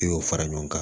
I y'o fara ɲɔgɔn kan